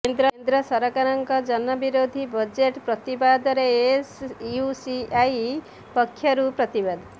କେନ୍ଦ୍ର ସରକାରଙ୍କ ଜନ ବିରୋଧୀ ବଜେଟ୍ ପ୍ରତିବାଦରେ ଏସୟୁସିଆଇ ପକ୍ଷରୁ ପ୍ରତିବାଦ